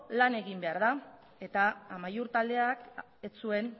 lan egin behar da eta amaiur taldeak ez zuen